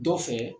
Dɔ fɛ